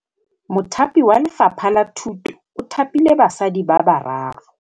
Mothapi wa Lefapha la Thutô o thapile basadi ba ba raro.